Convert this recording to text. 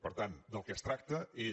per tant del que es tracta és